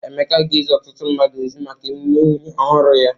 Emeka ga-ezi ọtụtụ mmadụ ozi maka emume nwunye ọhụrụ ya.